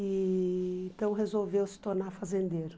E então, resolveu se tornar fazendeiro.